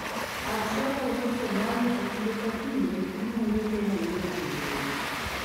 Al-Shaba wuok Somalia to kinde ka kinde gi monjo Kenya ei yor jonjore